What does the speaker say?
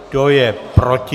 Kdo je proti?